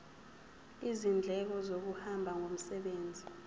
izindleko zokuhamba ngomsebenzi